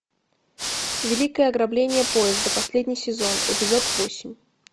великое ограбление поезда последний сезон эпизод восемь